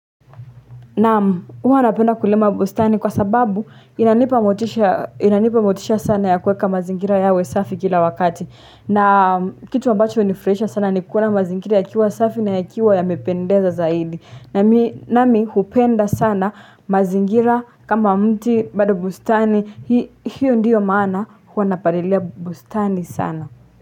Naam huwa napenda kulima bustani kwa sababu inanipa motisha sana ya kueka mazingira yawe safi kila wakati. Na kitu ambacho hunifurahisha sana ni kuona mazingira yakiwa safi na yakiwa yamependeza zaidi. Nami hupenda sana mazingira kama mti bado bustani hiyo ndiyo maana huwa napalilia bustani sana.